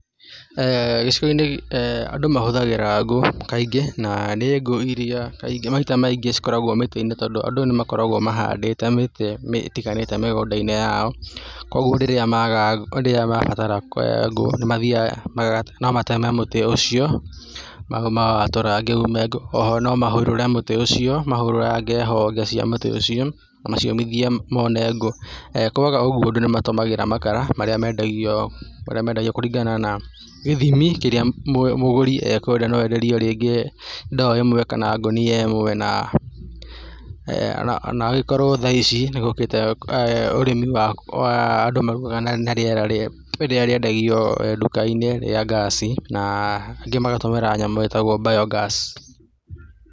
Gĩcigo-inĩ andũ mahũthagĩra ngũ kaingĩ na nĩ ngũ iria kaingĩ, maita maingĩ cikoragwo mĩtwe-inĩ tondũ andũ nĩ makoragwo mahandĩte mĩtĩ ĩtiganĩte mĩgũndaine yao kwoguo rĩrĩa mabatara ngũ nĩ mathiaga, no mateme mũtĩ ũcio ma watũrange ume ngũ, oho no mahũrũre mũtĩ ũcio, mahũrũrange honge cia mũtĩ ũcio na maciũmithie mone ngũ kwaga ũguo andũ nĩ matũmagĩra makara marĩa mendagio kũringana na gĩthimi kĩrĩa mũgũri ekwenda no enderio rĩngĩ ndo ĩmwe kana ngũnia ĩmwe na ona angĩkorwo thaa ici nĩgũkĩte ũrĩmi wa andũ mararuga na rĩera rĩa, rĩrĩa rĩendagio duka-inĩ rĩa gas na angĩ magagĩtũmĩra nyamũ ĩtagwo bio-gas